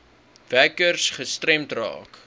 werkers gestremd raak